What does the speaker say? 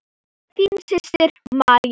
Þín systir, María.